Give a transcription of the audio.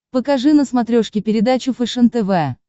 покажи на смотрешке передачу фэшен тв